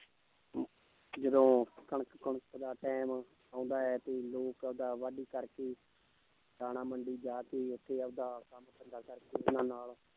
ਜਦੋਂ ਕਣਕ ਕੁਣਕ ਦਾ time ਆਉਂਦਾ ਹੈ ਤੇ ਲੋਕ ਆਪਦਾ ਵਾਢੀ ਕਰਕੇ ਦਾਣਾ ਮੰਡੀ ਜਾ ਕੇ ਉੱਥੇ ਆਪਦਾ ਕੰਮ ਧੰਦਾ ਕਰਕੇ